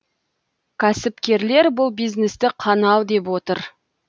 кәсіпкерлер бұл бизнесті қанау деп отыр